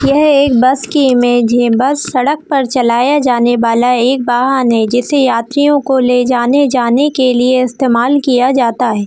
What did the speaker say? यह एक बस की इमेज है बस सड़क पर चलाया जाने वाला एक वाहन है जिसे यात्रियों को ले जाने जाने के लिए इस्तेमाल किया जाता है।